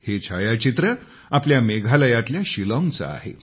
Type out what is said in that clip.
हे छायाचित्र आपल्या मेघालयातल्या शिलाँगचे आहे